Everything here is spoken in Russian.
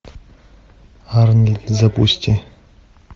арни запусти